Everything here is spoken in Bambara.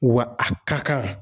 Wa a ka kan